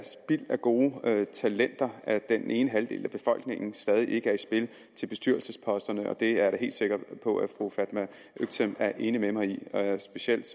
af gode talenter at den ene halvdel af befolkningen stadig ikke er i spil til bestyrelsesposterne og det er jeg da helt sikker på at fru fatma øktem er enig med mig i specielt